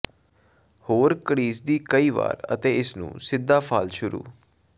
ਹੋਰ ਘੜੀਸਦੀ ਕਈ ਵਾਰ ਅਤੇ ਇਸ ਨੂੰ ਸਿੱਧਾ ਫਾਲ ਸ਼ੁਰੂ